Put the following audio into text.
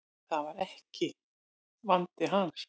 Það var ekki vandi hans.